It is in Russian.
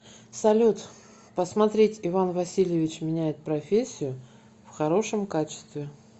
салют посмотреть иван васильевич меняет профессию в хорошем качестве